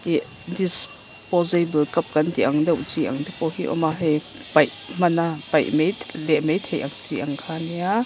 ih disposable cup kan tih ang deuh chi ang te pawh hi awma hei paih hmana paih math leh maithei ang chi kha nia--